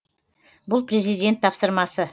бұл президент тапсырмасы